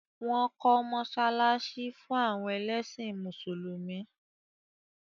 Wọ́n kọ́ mọ́sálásí fún àwọn ẹlẹ́sìn mùsùlùmí